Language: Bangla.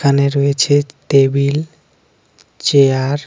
এখানে রয়েছে তেবিল চেয়ার .